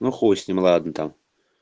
ну хуй с ним ладно там